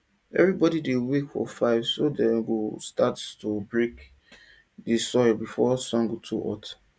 evribodi dey wake for five so dem go start to dey break di soil before sun go too hot